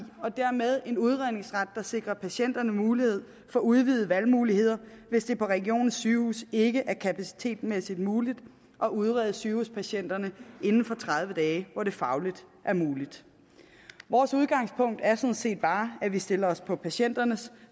og dermed en udredningsret der sikrer patienterne mulighed for udvidede valgmuligheder hvis det på regionens sygehuse ikke er kapacitetmæssigt muligt at udrede sygehuspatienterne inden for tredive dage hvor det fagligt er muligt vores udgangspunkt er sådan set bare at vi stiller os på patienternes